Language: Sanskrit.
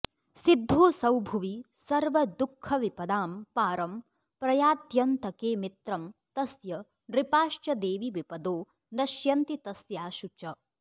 सिद्धोऽसौ भुवि सर्वदुःखविपदां पारं प्रयात्यन्तके मित्रं तस्य नृपाश्च देवि विपदो नश्यन्ति तस्याशु च